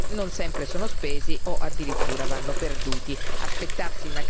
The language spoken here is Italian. I Fondi strutturali non sempre sono spesi o addirittura vanno perduti.